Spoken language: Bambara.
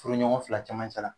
Furuɲɔgɔn fila cɛmancɛ la